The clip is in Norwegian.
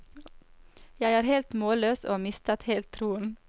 Jeg er helt målløs, og har mistet helt troen.